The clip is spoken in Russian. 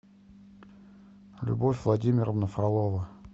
любовь владимировна фролова